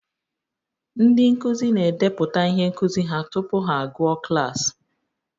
Ndị nkuzi na-edepụta ihe nkuzi ha tupu ha agụọ klaasị